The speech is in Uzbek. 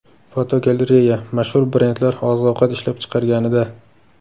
Fotogalereya: Mashhur brendlar oziq-ovqat ishlab chiqarganida.